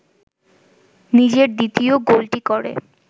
নিজের দ্বিতীয় গোলটি করে